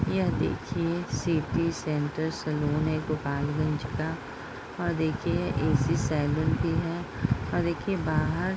यह देखिए city centre saloon है गोपालगंज का और देखिए ए.सी. सैलून भी है और देखिए बाहर --